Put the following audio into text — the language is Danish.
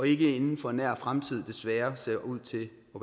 ikke inden for en nær fremtid ser ser ud til